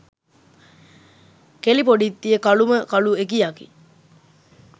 කෙලි පොඩිත්තිය කලුම කලු එකියකි.